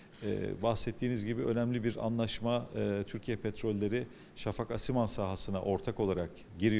Eee qeyd etdiyiniz kimi, önəmli bir razılaşma eee Türkiyə Petrolları Şafak Asiman sahəsinə ortaq olaraq daxil olur.